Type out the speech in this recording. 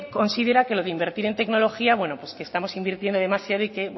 considera que lo de invertir en tecnología bueno pues que estamos invirtiendo demasiado y que